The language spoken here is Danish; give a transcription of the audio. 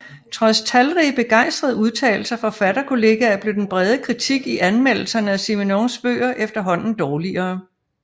Trods talrige begejstrede udtalelser fra forfatterkolleger blev den brede kritik i anmeldelserne af Simenons bøger efterhånden dårligere